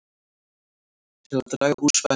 Til að draga úr spennu